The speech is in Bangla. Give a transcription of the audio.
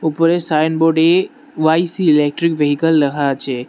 উপরে সাইনবোড এ ওয়াই সি ইলেক্ট্রিক ভেইকেল লেহা আছে।